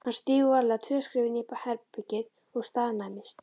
Hann stígur varlega tvö skref inn í herbergið og staðnæmist.